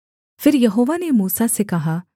फिर यहोवा ने मूसा से कहा